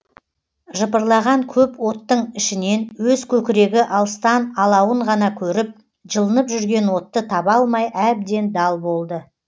жыпырлаған көп оттың ішінен өз көкірегі алыстан алауын ғана көріп жылынып жүрген отты таба алмай әбден дал болды